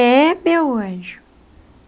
É, meu anjo.